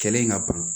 Kɛlen ka ban